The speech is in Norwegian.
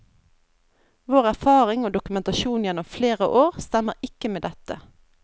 Vår erfaring og dokumentasjon gjennom flere år stemmer ikke med dette.